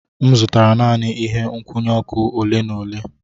M zụtara naanị ihe nkwụnye ọkụ ole na ole.